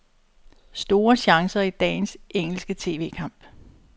Store chancer i dagens engelske tv-kamp.